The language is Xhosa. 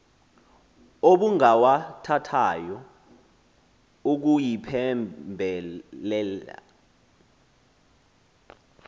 obungawathathayo ukuyiphembe lela